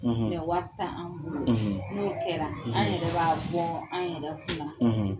;; Wari t' an bolo; ; n'o kɛra; , an yɛrɛ b'a bɔ an yɛrɛ kunna;